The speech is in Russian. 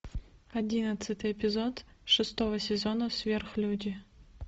одиннадцатый эпизод шестого сезона сверхлюди